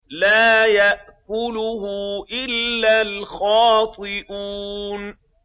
لَّا يَأْكُلُهُ إِلَّا الْخَاطِئُونَ